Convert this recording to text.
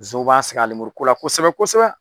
Nsɔnw b'a sɛgɛn a lemuru ko la kosɛbɛ kosɛbɛ.